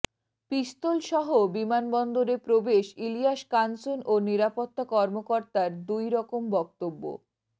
পিস্তলসহ বিমানবন্দরে প্রবেশ ইলিয়াস কাঞ্চন ও নিরাপত্তা কর্মকর্তার দুই রকম বক্তব্য